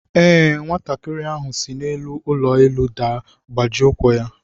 Ee, nwatakịrị ahụ si n'elu ụlọ elu daa gbajie ụkwụ ya.